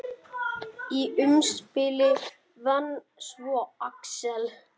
Í umspili vann svo Axel.